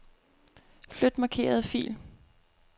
Flyt markerede fil.